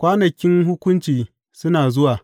Kwanakin hukunci suna zuwa,